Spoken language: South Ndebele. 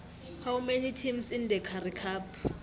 how many teams in the currie cup